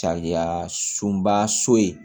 Sariya sunba so in